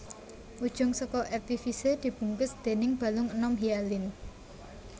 Ujung saka epifise dibungkus déning balung enom hialin